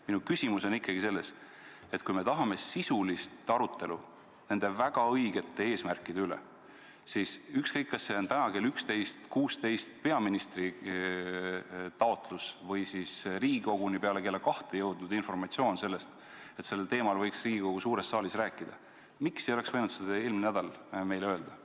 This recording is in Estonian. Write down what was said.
Minu küsimus on selle kohta, et kui me tahame sisulist arutelu nende väga õigete eesmärkide üle, siis ükskõik, kas see peaministri taotlus tuli täna kell 11.16 või on Riigikoguni peale kella kahte jõudnud informatsioon, et sellel teemal võiks Riigikogu suures saalis rääkida, miks ei oleks võinud seda eelmine nädal meile öelda.